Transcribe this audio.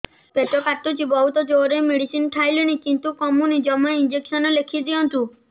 ପେଟ କାଟୁଛି ବହୁତ ଜୋରରେ ମେଡିସିନ ଖାଇଲିଣି କିନ୍ତୁ କମୁନି ଜମା ଇଂଜେକସନ ଲେଖିଦିଅନ୍ତୁ